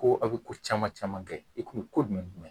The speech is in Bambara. Ko aw bɛ ko caman caman kɛ i ko jumɛn